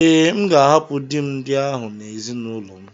Ee, M ga-ahapụ di m ndị ahụ na ezinụlọ m.